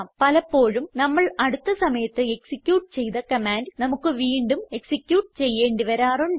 പലപ്പോഴും നമ്മൾ അടുത്ത സമയത്ത് എക്സിക്യൂട്ട് ചെയ്ത കമാൻഡ് നമുക്ക് വീണ്ടും എക്സിക്യൂട്ട് ചെയ്യേണ്ടി വരാറുണ്ട്